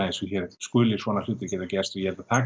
eins og hér skuli svona hlutir geta gerst ég held að